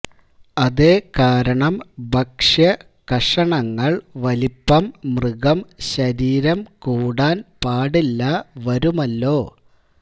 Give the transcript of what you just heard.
അതേ കാരണം ഭക്ഷ്യ കഷണങ്ങൾ വലിപ്പം മൃഗം ശരീരം കൂടാൻ പാടില്ല വരുമല്ലോ